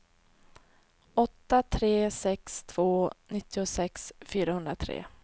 åtta tre sex två nittiosex fyrahundratre